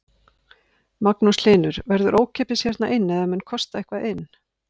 Magnús Hlynur: Verður ókeypis hérna inn eða mun kosta eitthvað inn?